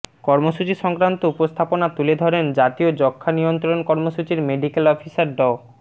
কর্মসূচি সংক্রান্ত উপস্থাপনা তুলে ধরেন জাতীয় যক্ষ্মা নিয়ন্ত্রণ কর্মসূচির মেডিক্যাল অফিসার ড